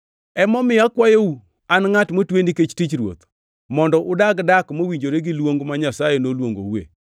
Emomiyo akwayou, an ngʼat motwe nikech tich Ruoth, mondo udag dak mowinjore gi luong ma Nyasaye noluongoue.